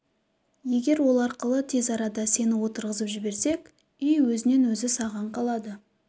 егер ол арқылы тез арада сені отырғызып жіберсек үй өз-өзінен саған қалады